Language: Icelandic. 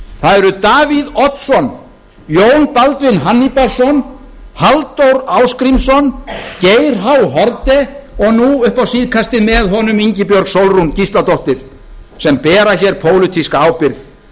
það eru davíð oddsson jón baldvin hannibalsson halldór ásgrímsson geir h haarde og nú upp á síðkastið með honum ingibjörg sólrún gísladóttir sem bera hér pólitíska ábyrgð